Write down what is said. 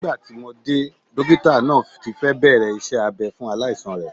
Nígbà tí mo dé, dókítà náà ti fẹ́ bẹ̀rẹ̀ iṣẹ́ abɛ́ fún aláìsàn rẹ̀